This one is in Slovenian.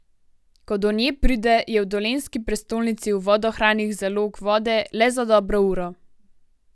Ko do nje pride, je v dolenjski prestolnici v vodohranih zalog vode le za dobro uro.